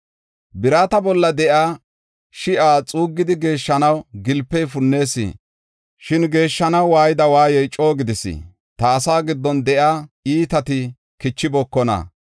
Birata bolla de7iya shi7a xuuggidi geeshshanaw gilpey punnees. Shin geeshshanaw waayida waayey coo gidis; ta asaa giddon de7iya iitati kichibookona.